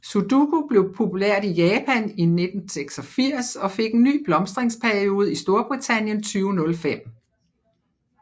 Sudoku blev populært i Japan i 1986 og fik en ny blomstringsperiode i Storbritannien 2005